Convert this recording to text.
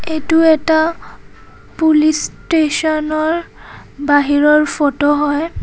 এইটো এটা পুলিচ ষ্টেচনৰ বাহিৰৰ ফটো হয়।